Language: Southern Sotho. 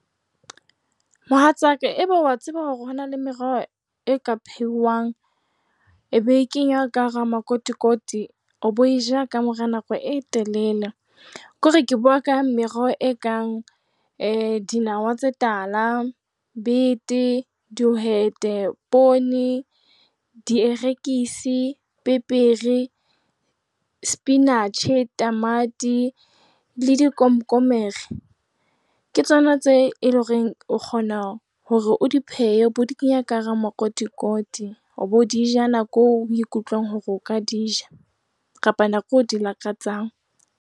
Mohatsaka, eba wa tseba hore hona le meroho e ka phehwang e be e kengwa ka hara makotikoti o be o e e ja ka mora nako e telele. Ke hore ke bua ka meroho e kang dinawa tse tala, bete, dihwete, poone, dierekisi, pepere, sepinatjhe, tamati le dikomkommere, ke tsona tseo e leng hore o kgona o di phehe o be o di kenya ka hara makotikoti, o be o di ja nakong eo o ikutlwang hore o ka di ja kapa nakong eo o di lakatsang.